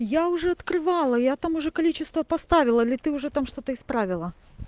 я уже открывала я там уже количество поставила или ты уже там что-то исправила